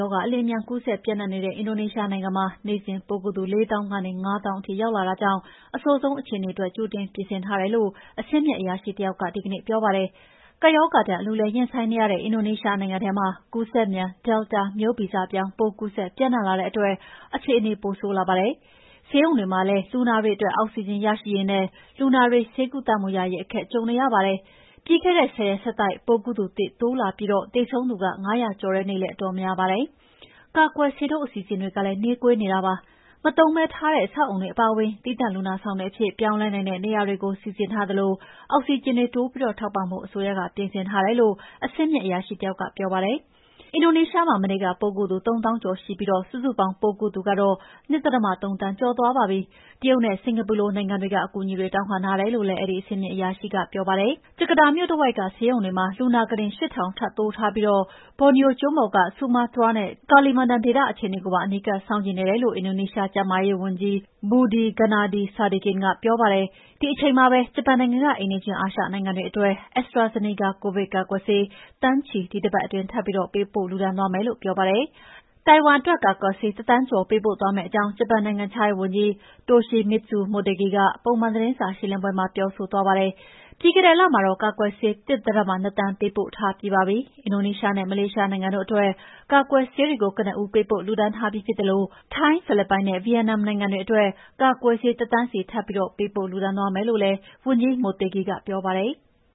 ရောဂါ အလ ျှင်အမြန်ကူးစက်ပြန့်နှံ့နေတဲ့ အင်ဒိုနီးရှားနိုင်ငံမှာ နေ့စဉ်ပိုးကူးသူ ၄ သောင်းကနေ ၅ သောင်းထိရောက် လာတာကြောင့်အဆိုးဆုံးအခြေအနေအတွက်ကြိုတင်ပြင်ဆင်ထားတယ်လို့ အဆင့်မြင့်အရာရှိတယောက်က ဒီကနေ့ပြောပါတယ်။ ကပ်ရောဂါဒဏ် အလူးအလဲရင်ဆိုင်နေရတဲ့အင်ဒိုနီးရှားနိုင်ငံထဲမှာကူးစက်မြန် Delta မျိုးဗီဇပြောင်းပိုးကူးစက်ပြန့်နှံ့လာတဲ့အတွက်အခြေအနေပိုဆိုးလာပါတယ်။ ဆေးရုံတွေမှာလည်း လူနာအတွက် အောက်ဆီဂျင်ရရှိရေးနဲ့ လူနာတွေ ဆေးကုသမှုရရရေးအခက်ကြုံနေရပါတယ်။ ပြီးခဲ့တဲ့ ၁၀ရက်ဆက်တိုက်ပိုးကူးသူသစ်တိုးလာပြီးသေဆုံးသူ၅ ရာကျော်တဲ့နေ့လည်းအတော်များပါတယ်။ ကာကွယ်ဆေးထိုးအစီအစဉ်ကလည်း နှေးကွေးနေတာပါ။ မသုံးပဲထားတဲ့အဆောက်အအုံတွေအပါအဝင် သီးသန့်လူနာဆောင်အဖြစ်ပြောင်းလဲနိုင်တဲ့နေရာတွေစီစဉ်ထားသလို အောက်ဆီဂျင်တွေ တိုးပြီးထောက်ပံ့ဖို့ အစိုးရက ကြိုတင်ပြင်ဆင်ထားတယ်လို့ အဆင့်မြင့်အရာရှိတယောက်ကပြောပါတယ်။ အင်ဒိုနီးရှားမှာ မနေ့က ပိုးကူးသူ ၃သောင်းကျော်ရှိပြီး စုစုပေါင်းပိုးကူးသူ ၂.၃ သန်းကျော်သွားပါပြီ။ တရုတ်နဲ့ စင်္ကာပူလို နိုင်ငံတွေက အကူအညီတွေတောင်းခံထားတယ်လို့လည်း အဲဒီအဆင့်မြင့်အရာရှိကပြောပါတယ်။ ဂျကာတာမြို့တဝိုက်ကဆေးရုံတွေမှာ လူနာကုတင် ၈ထောင်ထပ်တိုးထားပြီး ဘော်နီယိုကျွန်းပေါ်က ဆူမားမတျားနဲ့ ကာလီမန်တန် ဒေသအခြေအနေကိုပါ အနီးကပ်စောင့်ကြည့်နေတယ်လို့ အင်ဒိုနီးရှားကျန်းမာရေးဝန်ကြီး Budi Gunadi Sadikin ကပြောပါတယ်။ ဒီအချိန်မှာပဲ ဂျပန်နိုင်ငံက အိမ်နီးချင်းအာရှနိုင်ငံတွေအတွက် AstraZeneca ကိုဗစ်ကာကွယ်ဆေး သန်းချီ ဒီတပတ်အတွင်းထပ်ပြီးပေးပို့လှုဒါန်းသွားမယ်လို့ပြောပါတယ်။ တိုင်ဝမ်အတွက် ကာကွယ်ဆေး၁.၁၃သန်းပေးပို့သွားမယ့်အကြောင်း ဂျပန်နိုင်ငံခြားရေးဝန်ကြီး Toshimitsu Motegi ကပုံမှန်သတင်းစာရှင်းလင်းပွဲမှာပြောဆိုသွားပါတယ်။ ပြီးခဲ့တဲ့လမှာတော့ ကာကွယ်ဆေး ၁.၂၄ သန်းပေးပို့ ှုဒါန်းပြီးပါပြီ။ အင်ဒိုနီးရှားနဲ့ မလေးရှားနိုင်ငံတို့အတွက် ကာကွယ်ဆေးတွေကို ကနဦးပေးပို့လှုဒါန်းထားပြီးဖြစ်သလို ထိုင်း၊ ဖိလစ်ပိုင်နဲ့ ဗိယက်နမ်နိုင်ငံအတွက် ကာကွယ်ဆေး ၁ သန်းစီ ထပ်ပြီးပေးပို့လှုဒါန်းသွားမယ်လို့လည်း ဝန်ကြီး Motegi ကပြောပါတယ်။